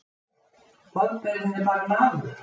Boðberinn er bara maður.